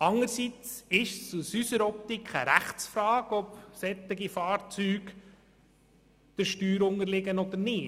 Anderseits ist es unseres Erachtens eine Rechtsfrage, ob solche Fahrzeuge der Steuer unterliegen oder nicht.